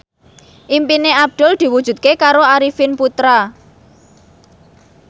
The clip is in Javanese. impine Abdul diwujudke karo Arifin Putra